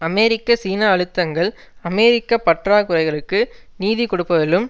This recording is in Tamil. அமெரிக்க சீன அழுத்தங்கள் அமெரிக்க பற்றாக்குறைகளுக்கு நிதி கொடுப்பதிலும்